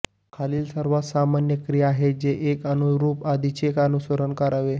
खालील सर्वात सामान्य क्रिया आहेत जे एक अननुरूप आधीचे अनुसरण करावे